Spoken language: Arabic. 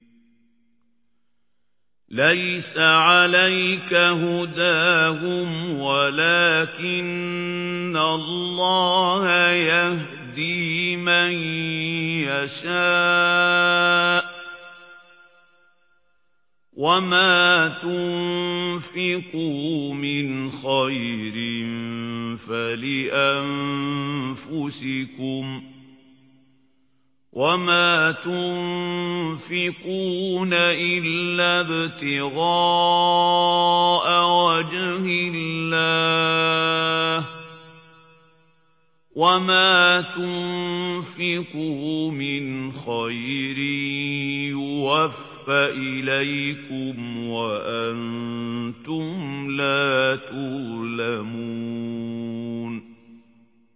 ۞ لَّيْسَ عَلَيْكَ هُدَاهُمْ وَلَٰكِنَّ اللَّهَ يَهْدِي مَن يَشَاءُ ۗ وَمَا تُنفِقُوا مِنْ خَيْرٍ فَلِأَنفُسِكُمْ ۚ وَمَا تُنفِقُونَ إِلَّا ابْتِغَاءَ وَجْهِ اللَّهِ ۚ وَمَا تُنفِقُوا مِنْ خَيْرٍ يُوَفَّ إِلَيْكُمْ وَأَنتُمْ لَا تُظْلَمُونَ